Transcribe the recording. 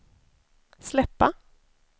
släppa